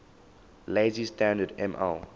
lazy standard ml